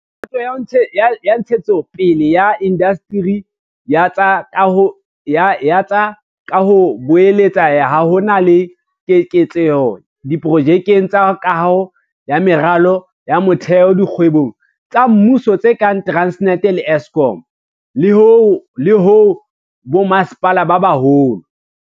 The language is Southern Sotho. Boto ya Ntshetsopele ya Indasteri ya tsa Kaho e boletse ha ho na le keketseho diprojekeng tsa kaho ya meralo ya motheo dikgwebong tsa mmuso tse kang Transnet le Eskom, le ho bommasepala ba baholo.